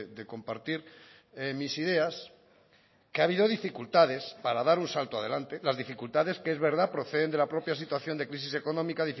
de compartir mis ideas que ha habido dificultades para dar un salto adelante las dificultades que es verdad proceden de la propia situación de crisis económica